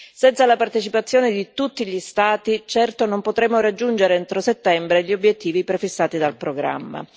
Senza la partecipazione di tutti gli Stati certo non potremo raggiungere entro settembre gli obiettivi prefissati dal programma.